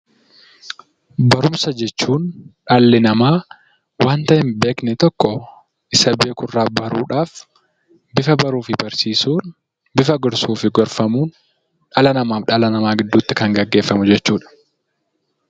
Barumsa jechuun dhalli namaa wanta hin beekne tokko Isa beekurraa baruudhaaf bifa baruu fi barsiisuun bifa gorsuu fi gorfamuutiin dhala namaa fi dhala namaa gidduutti kan gaggeeffamu jechuudha.